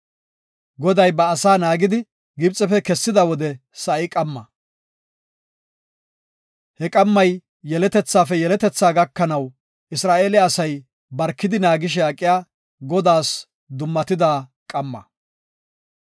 Goday ba asaa naagidi, Gibxefe kessida wode sa7i qamma. He qammay yeletethaafe yeletethaa gakanaw Isra7eele asay barkidi naagishe aqiya, Godaas dummatida qamma.